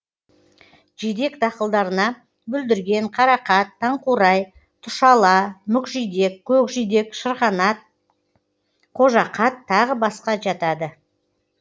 жидек дақылдарына бүлдірген қарақат таңқурай тұшала мүкжидек көкжидек шырғанақ қожақат тағы басқа жатады